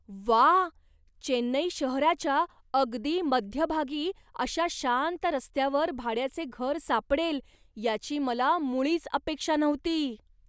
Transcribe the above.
व्वा! चेन्नई शहराच्या अगदी मध्यभागी अशा शांत रस्त्यावर भाड्याचे घर सापडेल याची मला मुळीच अपेक्षा नव्हती.